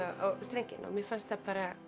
á strenginn mér fannst það